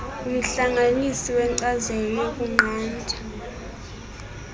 umhlanganisi wenkcazelo yokunqanda